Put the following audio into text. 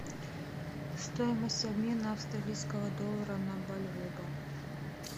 стоимость обмена австралийского доллара на бальбоа